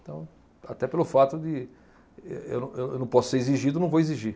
Então, até pelo fato de eu não, eu não posso ser exigido, não vou exigir.